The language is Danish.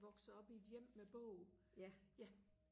voksede op i et hjem med bog ja